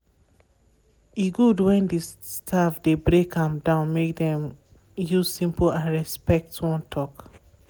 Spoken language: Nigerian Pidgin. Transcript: e good when di staff dey break am down make dem use simple and respect wan talk.